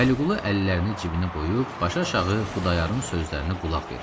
Vəliqulu əllərini cibinə qoyub, başaşağı Xudayarın sözlərinə qulaq verirdi.